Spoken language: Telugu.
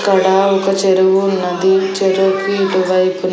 ఇక్కడ ఒక చెరువు ఉన్నది చెరువుకి ఇటువైపు--